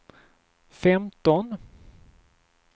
femton